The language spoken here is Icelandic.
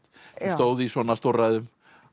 stóðu í svona stórræðum